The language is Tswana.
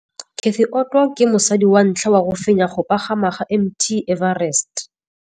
Cathy Odowd ke mosadi wa ntlha wa go fenya go pagama ga Mt Everest.